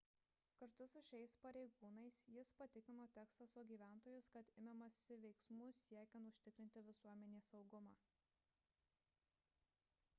kartu su šiais pareigūnais jis patikino teksaso gyventojus kad imamasi veiksmų siekiant užtikrinti visuomenės saugumą